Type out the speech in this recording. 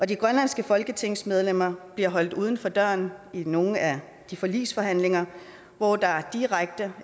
de grønlandske folketingsmedlemmer bliver holdt uden for døren i nogle af de forligsforhandlinger hvor der er direkte og